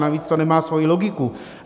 Navíc to nemá svoji logiku.